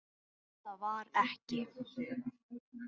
En það var ekki.